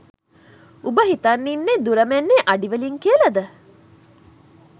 උඹ හිතන් ඉන්නෙ දුර මැන්නෙ අඩි වලින් කියලද?